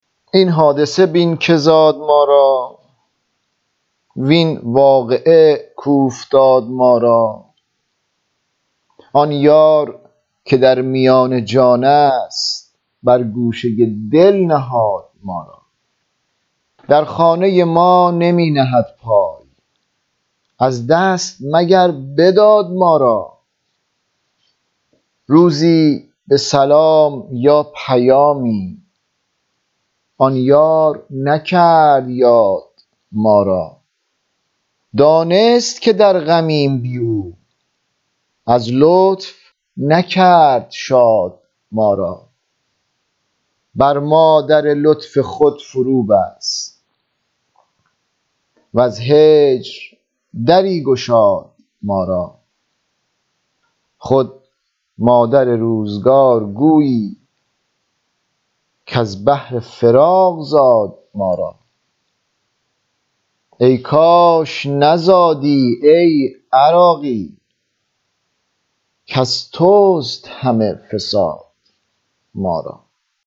این حادثه بین که زاد ما را وین واقعه کاوفتاد ما را آن یار که در میان جان است بر گوشه دل نهاد ما را در خانه ما نمی نهد پای از دست مگر بداد ما را روزی به سلام یا پیامی آن یار نکرد یاد ما را دانست که در غمیم بی او از لطف نکرد شاد ما را بر ما در لطف خود فرو بست وز هجر دری گشاد ما را خود مادر روزگار گویی کز بهر فراق زاد ما را ای کاش نزادی ای عراقی کز توست همه فساد ما را